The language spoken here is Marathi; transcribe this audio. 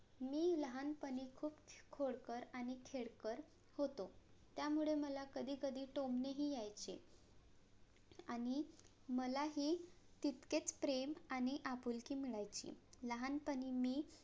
मी लहानपणी खूप खोडकर आणि खेळकर होतो. त्यामुळे मला कधी कधी टोमणे हि यायचे आणि मलाही तितकेच प्रेम आणि आपुलकी मिळायची. लहानपणी मी